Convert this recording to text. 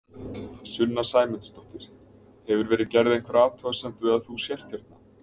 Sunna Sæmundsdóttir: Hefur verið gerð einhver athugasemd við að þú sért hérna?